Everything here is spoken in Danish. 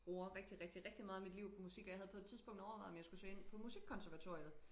Bruger rigtig rigtig rigtig meget af mit liv på musik og jeg havde på et tidspunkt overvejet om jeg skulle søge ind på musikkonservatoriet